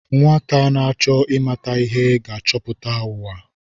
Nwata na-achọ ịmata ihe ga-achọpụta ụwa.